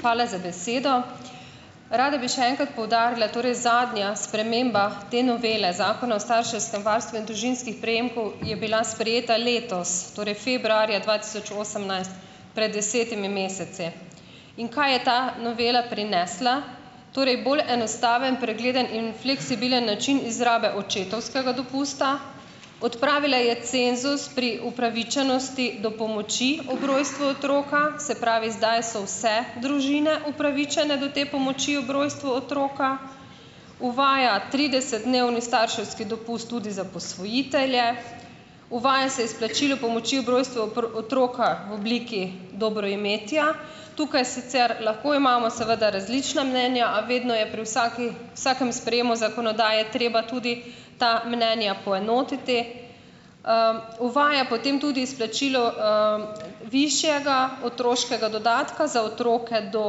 Hvala za besedo. Rada bi še enkrat poudarila, torej zadnja sprememba te novele Zakona o starševskem varstvu in družinskih prejemkov je bila sprejeta letos, torej februarja dva tisoč osemnajst, pred desetimi meseci. In kaj je ta novela prinesla? Torej bolj enostaven, pregleden in fleksibilen način izrabe očetovskega dopusta, odpravila je cenzus pri upravičenosti do pomoči ob rojstvu otroka , se pravi, zdaj so vse družine upravičene do te pomoči ob rojstvu otroka, uvaja tridesetdnevni starševski dopust tudi za posvojitelje, uvaja se izplačilo pomoči ob rojstvu otroka v obliki dobroimetja. Tukaj sicer lahko imamo seveda različna mnenja, a vedno je pri vsaki, vsakem sprejemu zakonodaje je treba tudi ta mnenja poenotiti. Uvaja potem tudi izplačilo, višjega otroškega dodatka za otroke do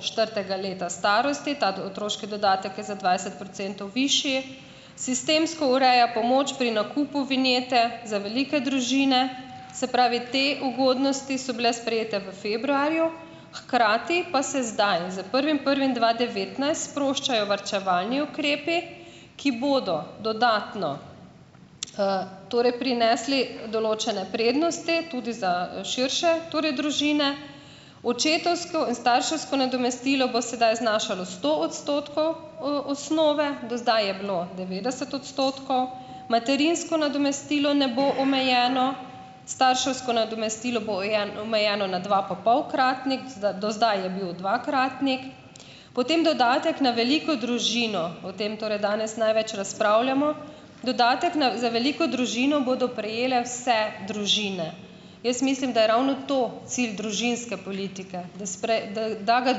četrtega leta starosti. Ta otroški dodatek je za dvajset procentov višji. Sistemsko ureja pomoč pri nakupu vinjete za velike družine. Se pravi, te ugodnosti so bile sprejete v februarju, hkrati pa se zdaj z prvim prvim dva devetnajst sproščajo varčevalni ukrepi, ki bodo dodatno, torej prinesli določene prednosti tudi za, širše torej družine. Očetovsko in starševsko nadomestilo bo sedaj znašalo sto odstotkov osnove, do zdaj je bilo devetdeset odstotkov. Materinsko nadomestilo ne bo omejeno , starševsko nadomestilo bo omejeno na dvapapolkratnik, do do zdaj je bil dvakratnik. Potem dodatek na veliko družino, o tem torej danes največ razpravljamo, dodatek na, za veliko družino bodo prejele vse družine. Jaz mislim, da je ravno to cilj družinske politike, da da da ga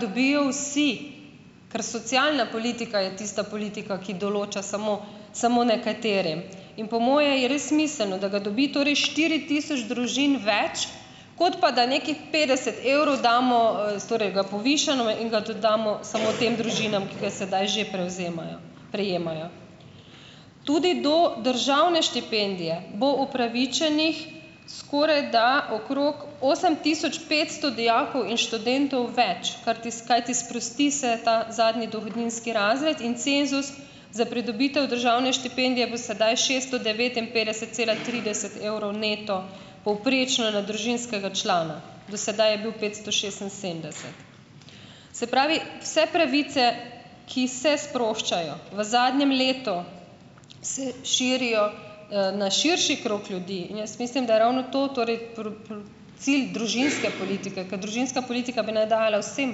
dobijo vsi, ker socialna politika je tista politika, ki določa samo samo nekaterim. In po moje je res smiselno, da ga dobi torej štiri tisoč družin več, kot pa da nekih petdeset evrov damo, torej ga povišamo in ga tudi damo samo tem družinam , ki ga sedaj že prevzemajo, prejemajo. Tudi do državne štipendije bo upravičenih skorajda okrog osem tisoč petsto dijakov in študentov več, karti kajti sprosti se ta zadnji dohodninski razred in cenzus za pridobitev državne štipendije bo sedaj šeststo devetinpetdeset cela trideset evrov neto povprečno na družinskega člana, do sedaj je bil petsto šestinsedemdeset. Se pravi, vse pravice, ki se sproščajo v zadnjem letu, se širijo, na širši krog ljudi in jaz mislim, da je ravno to torej cilj družinske politike , ke družinska politika bi naj dajala vsem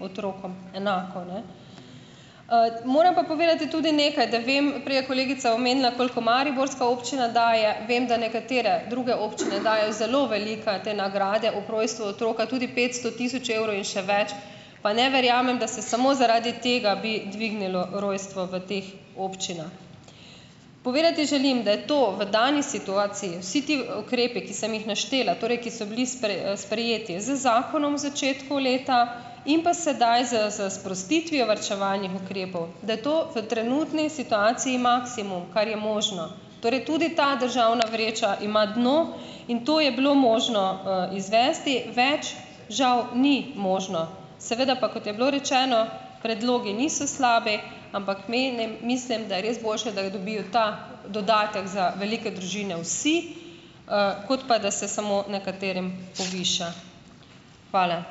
otrokom enako, ne. Moram pa povedati tudi nekaj, da vem, prej je kolegica omenila, koliko mariborska občina daje, vem, da nekatere druge občine dajo zelo velike te nagrade ob rojstvu otroka, tudi petsto, tisoč evrov in še več, pa ne verjamem, da se samo zaradi tega bi dvignilo rojstvo v teh občinah. Povedati želim, da je to v dani situaciji, vsi ti, ukrepi, ki sem jih naštela, torej ki so bili sprejeti z zakonom v začetku leta in pa sedaj s s sprostitvijo varčevalnih ukrepov, da je to v trenutni situaciji maksimum, kar je možno. Torej tudi ta državna vreča ima dno in to je bilo možno, izvesti, več žal ni možno. Seveda pa, kot je bilo rečeno, predlogi niso slabi, ampak menim mislim, da je res boljše, da dobijo ta dodatek za velike družine vsi, kot pa da se samo nekaterim poviša. Hvala.